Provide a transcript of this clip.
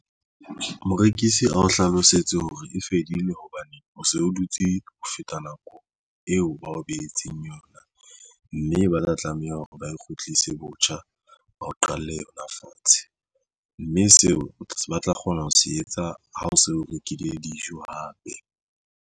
Morekisi a o hlalosetse hore e fedile hobane o so o dutse ho feta nako eo ba o behetseng yona mme ba tla tlameha hore ba kgutlise botjha ba o qale yona fatshe mme seo ba tla kgona ho se etsa. Ha o se o rekile dijo hape.